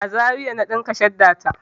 A Zaria na ɗinka shadda ta.